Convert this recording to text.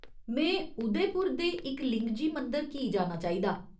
में उदयपुर दे इकलिंगजी मंदर की जाना चाहिदा?